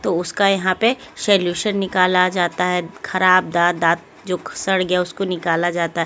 तो उसका यहाँ पे सलूशन निकाला जाता है खराब दांत दांत जो सड़ गया उसको निकाला जाता है।